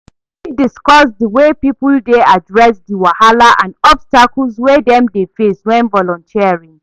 You fit discuss the way people dey address di wahala and obstacles wey dem dey face when volunteering?